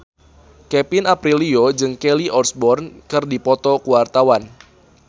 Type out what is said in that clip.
Kevin Aprilio jeung Kelly Osbourne keur dipoto ku wartawan